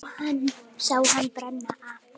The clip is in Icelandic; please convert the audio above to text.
Sá hann brenna af.